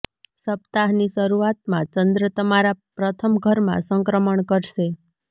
સપ્તાહ ની શરૂઆત માં ચંદ્ર તમારા પ્રથમ ઘર માં સંક્રમણ કરશે